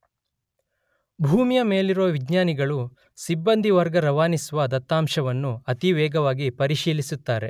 ಭೂಮಿಯ ಮೇಲಿರುವ ವಿಜ್ಞಾನಿಗಳು ಸಿಬ್ಬಂದಿ ವರ್ಗ ರವಾನಿಸುವ ದತ್ತಾಂಶವನ್ನು ಅತಿ ವೇಗವಾಗಿ ಪರಿಶೀಲಿಸುತ್ತಾರೆ.